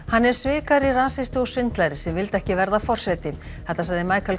hann er svikari rasisti og svindlari sem vildi ekki verða forseti þetta sagði